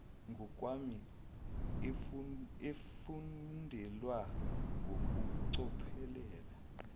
ngokwami efundelwa ngokucophelela